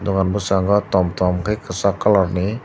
bon boskango tom tom kei kesak colour ni.